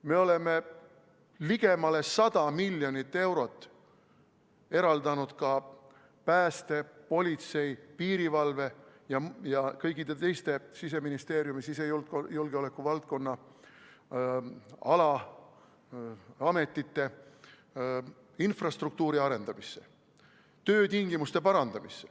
Me oleme ligemale 100 miljonit eurot eraldanud ka päästjate, politsei, piirivalve ja kõikide teiste Siseministeeriumi sisejulgeoleku valdkonna ametite infrastruktuuri arendamiseks, töötingimuste parandamiseks.